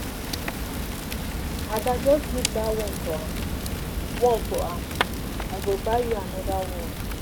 Ada just leave dat one for am one for am I go buy you another one.